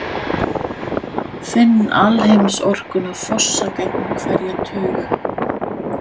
Finn alheimsorkuna fossa gegnum hverja taug.